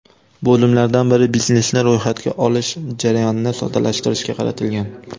Bo‘limlardan biri biznesni ro‘yxatga olish jarayonini soddalashtirishga qaratilgan.